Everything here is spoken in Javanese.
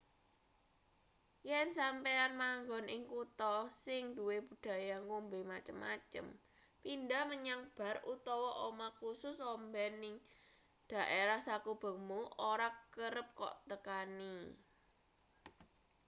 yen sampeyan manggon ing kutha sing duwe budaya ngombe macem-macem pindhah menyang bar utawa omah kusus omben ing dhaerah sakubengmu ora kerep kok tekani